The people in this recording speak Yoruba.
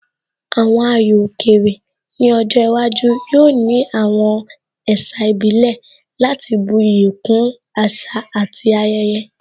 Àwọn ayò òkè rè ní ọjọ́ iwájú yóò ní àwọn ẹ̀sà ìbílẹ̀ láti bu iyì kún àṣà àti ayẹyẹ